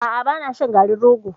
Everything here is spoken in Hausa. A'a ba na shan garin rogo.